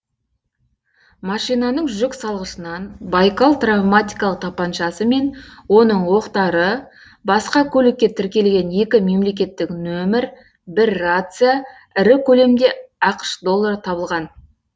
машинаның жүк салғышынан байкал травматикалық тапаншасы мен оның оқтары басқа көлікке тіркелген екі мемлекеттік нөмір бір рация ірі көлемде ақш доллары табылған